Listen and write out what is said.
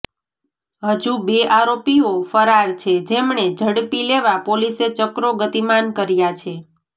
હજુ બે આરોપીઓ ફરાર છે જેમને ઝડપી લેવા પોલીસે ચક્રો ગતિમાન કર્યા છે